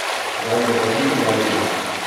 Zdaj se pa ti poberi ven.